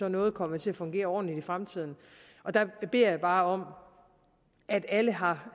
at noget kommer til at fungere ordentligt i fremtiden der beder jeg bare om at alle har